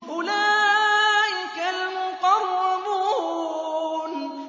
أُولَٰئِكَ الْمُقَرَّبُونَ